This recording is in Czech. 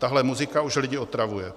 Tahle muzika už lidi otravuje.